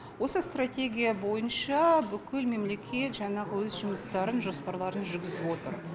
осы стратегия бойынша бүкіл мемлекет жаңағы өз жұмыстарын жоспарларын жүргізіп отыр